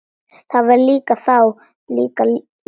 Það var þá líka líf!